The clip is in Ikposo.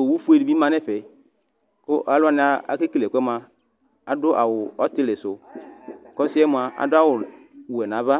Owufue dɩbɩ ma nʋ ɛfɛ Kʋ alu wani akekele ɛkʋ yɛ mʋa adʋ awʋ ɔtɩlɩ sʋ, kʋ ɔsɩ yɛ mʋa adʋ awʋwɛ nʋ ava